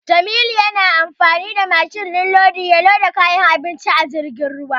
Jamilu yana amfani da mashin din lodi ya loda kayan abinci a jirgin ruwa.